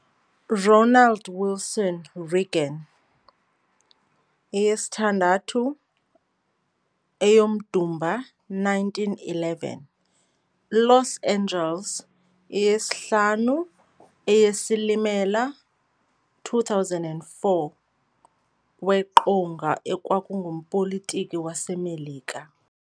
Ronald Wilson Reagan, 6 Eyomdumba 1911 - Los Angeles, 5 Eyesilimela 2004, weqonga ekwangumpolitiki waseMelika.